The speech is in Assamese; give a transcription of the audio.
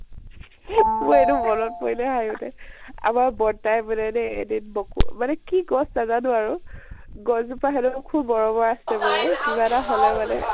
মোৰ এইটো মন ত পৰিলে হাহি উথে । আমাৰ বৰতা য়ে বোলে দেই এদিন বকো মানে কি গছ নাজানো আৰু গছ জোপা তেখেতৰ খুব মৰমৰ আছিল মানে, কিবা এতা হলে মানে